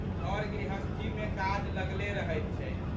घरगृहस्थीमे काज लगले रहैत छै।